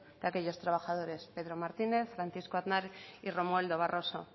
de aquellos trabajadores pedro martínez francisco aznar y romualdo barroso